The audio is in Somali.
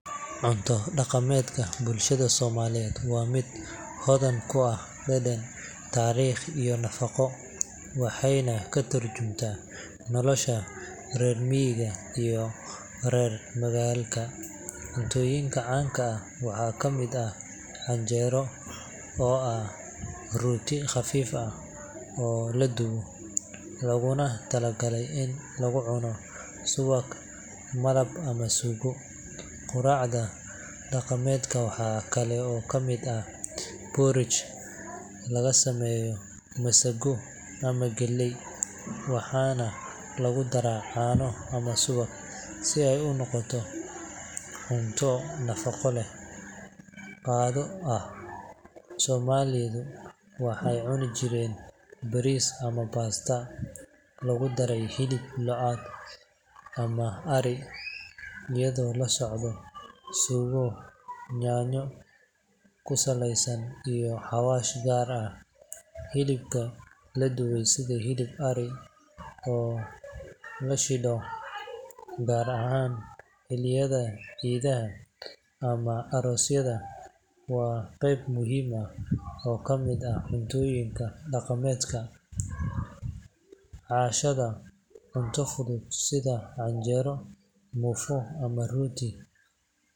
Cunto dhaqameedka bulshada Soomaaliyeed waa mid hodan ku ah dhadhan, taariikh iyo nafaqo, waxayna ka tarjumaysaa nolosha reer miyiga iyo reer magaalka. Cuntooyinka caanka ah waxaa ka mid ah canjeero, oo ah rooti khafiif ah oo la dubo, looguna talagalay in lagu cuno subag, malab ama suugo. Quraacda dhaqameed waxaa kale oo kamid ah porridge laga sameeyo masago ama galley, waxaana lagu daraa caano ama subag si ay u noqoto cunto nafaqo leh. Qado ahaan, Soomaalidu waxay cuni jireen bariis ama pasta lagu daray hilib lo’aad ama ari, iyadoo la socda suugo yaanyo ku saleysan iyo xawaash gaar ah. Hilibka la dubay sida hilib ari oo la shidho, gaar ahaan xilliyada ciidaha ama aroosyada, waa qeyb muhiim ah oo ka mid ah cuntooyinka dhaqameedka. Cashada, cunto fudud sida canjeero, muufo ama rooti.